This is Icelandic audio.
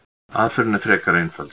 Aðferðin er frekar einföld.